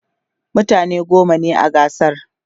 mutane goma ne a gasar